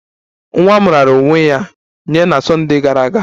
Nwa m raara onwe ya nye na Sunday gara aga